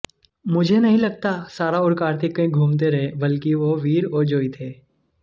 मुझे नहीं लगता सारा और कार्तिक कहीं घूमते रहे बल्कि वो वीर और जोई थे